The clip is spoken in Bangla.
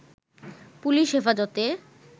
পুলিশ হেফাজতে